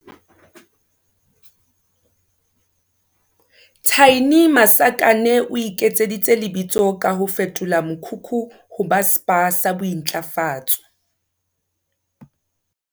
Thaini Masakane o iketseditse lebitso ka ho fetola mokhukhu ho ba Spa sa bo intlafatso.